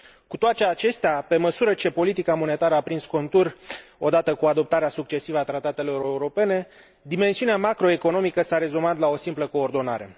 Cu toate acestea, pe măsură ce politica monetară a prins contur, odată cu adoptarea succesivă a tratatelor europene, dimensiunea macroeconomică s a rezumat la o simplă coordonare.